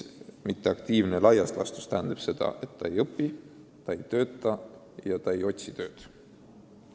Mitteaktiivne laias laastus tähendab seda, et ta ei õpi, ta ei tööta ja ta ei otsi tööd.